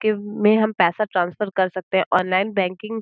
के हम पैसा ट्रांसफर कर सकते हैं। Online banking --